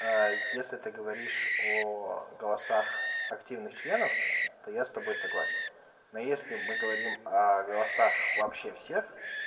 если ты говоришь о голосах активных членов то я с тобой согласен но если мы говорим о голосах вообще всех